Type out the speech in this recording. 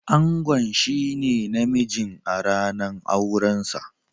Angon shine na mijin a ranan auren sa.